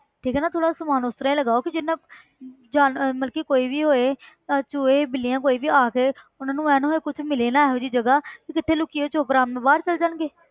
ਠੀਕ ਹੈ ਥੋੜ੍ਹਾ ਜਿਹਾ ਸਮਾਨ ਉਸ ਤਰ੍ਹਾਂ ਹੀ ਲਗਾਓ ਕਿ ਜਿਹਦੇ ਨਾਲ ਜਾ~ ਮਤਲਬ ਕਿ ਕੋਈ ਵੀ ਹੋਏ ਭਾਵੇਂ ਚੂਹੇ ਬਿੱਲੀਆਂ ਕੋਈ ਵੀ ਆ ਕੇ ਉਹਨਾਂ ਨੂੰ ਇਹ ਨਾ ਹੋਏ ਕੁਛ ਮਿਲੇ ਹੀ ਨਾ ਇਹੋ ਜਿਹੀ ਜਗ੍ਹਾ ਕਿ ਜਿੱਥੇ ਲੁੱਕੀਏ ਉਹ ਚੁੱਪ ਆਰਾਮ ਨਾਲ ਬਾਹਰ ਚਲੇ ਜਾਣਗੇ,